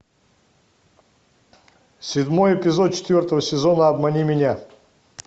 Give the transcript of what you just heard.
седьмой эпизод четвертого сезона обмани меня